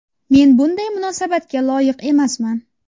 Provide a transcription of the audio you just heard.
Men bunday munosabatga loyiq emasman.